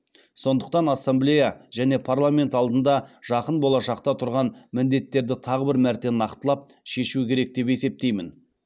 сондықтан ассамблея және парламент алдында жақын болашақта тұрған міндеттерді тағы бір мәрте нақтылап шешу керек деп есептеймін